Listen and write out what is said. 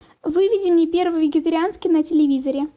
выведи мне первый вегетарианский на телевизоре